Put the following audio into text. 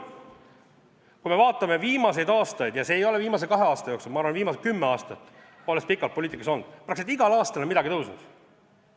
Kui me vaatame viimaseid aastaid – ja see ei ole olnud nii viimase kahe aasta jooksul, vaid ma arvan, et viimased kümme aastat, ma olen pikalt poliitikas olnud –, siis praktiliselt igal aastal on midagi tõusnud.